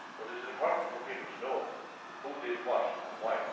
But it is important for people to know who did what and why.